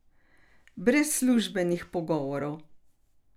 Brez službenih pogovorov.